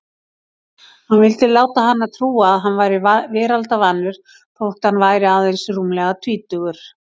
Hann vildi láta hana trúa að hann væri veraldarvanur þótt hann væri aðeins rúmlega tvítugur.